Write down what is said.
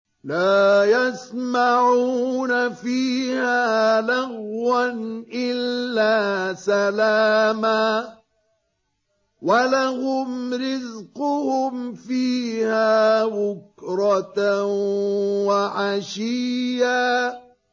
لَّا يَسْمَعُونَ فِيهَا لَغْوًا إِلَّا سَلَامًا ۖ وَلَهُمْ رِزْقُهُمْ فِيهَا بُكْرَةً وَعَشِيًّا